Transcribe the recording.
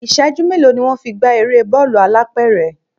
Ìṣẹ́jú mélòó ni wón fi ń gbá eré bọ́ọ̀lù alápẹ̀rẹ̀?